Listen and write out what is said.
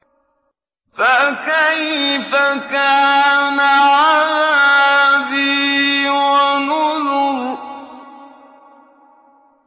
فَكَيْفَ كَانَ عَذَابِي وَنُذُرِ